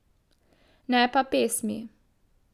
Ne pa pesmi.